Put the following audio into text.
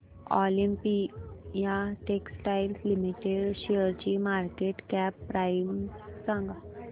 Olympia Textiles Limited शेअरची market cap price सांगा